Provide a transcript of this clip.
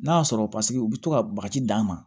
N'a y'a sɔrɔ paseke u bɛ to ka bagaji d'a ma